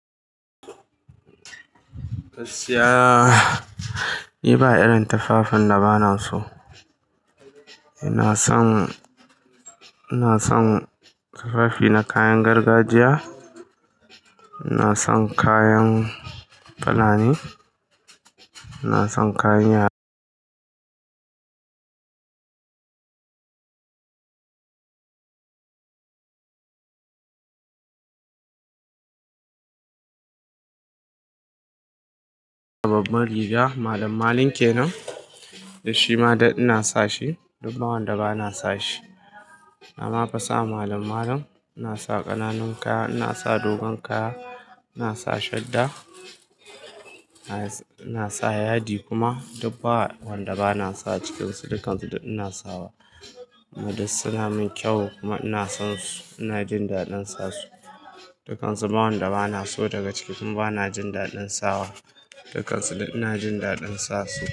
Gaskiya. Ni ba irin tafafin da ba na so. Ina son, ina son tufafi na kayan gargajiya. Ina son kayan fulani, ina son kayan yara. Babban rigaa malamalin ke nan, da shi dai ina sa shi. Dubba wanda ba na sa shi. Na mafo sa malamalam, ina sa ƙananun kaya, ina sa dogon kaya, ina sa shadda, ina sa yadi kuma. Dubba wanda ba na sa cikin su, dukkansu ina sawa. Kumadai ina san sun kyau kuma ina son su, ina jin daɗin sa su. Dukkansu bawanda ba na so daga ciki kuma ba na jin daɗin sawa. Dukkansu ina jin daɗin sa su.